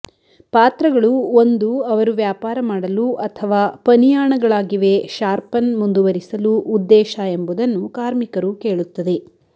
ಪಾತ್ರಗಳು ಒಂದು ಅವರು ವ್ಯಾಪಾರ ಮಾಡಲು ಅಥವಾ ಪನಿಯಾಣಗಳಾಗಿವೆ ಶಾರ್ಪನ್ ಮುಂದುವರಿಸಲು ಉದ್ದೇಶ ಎಂಬುದನ್ನು ಕಾರ್ಮಿಕರು ಕೇಳುತ್ತದೆ